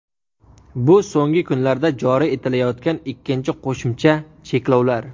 Bu so‘nggi kunlarda joriy etilayotgan ikkinchi qo‘shimcha cheklovlar.